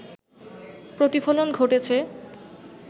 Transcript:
প্রতিফলন ঘটেছে